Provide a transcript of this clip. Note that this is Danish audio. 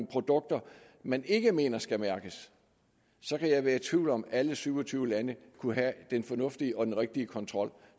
produkter man ikke mener skal mærkes kan jeg være i tvivl om om alle syv og tyve lande kunne have den fornuftige og den rigtige kontrol